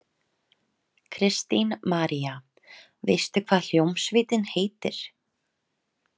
Kristín María: Veistu hvað hljómsveitin heitir?